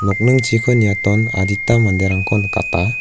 nokningchiko niaton adita manderangko nikata.